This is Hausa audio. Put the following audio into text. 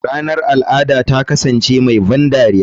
Ranar al'ada ta kasance mai ban dariya.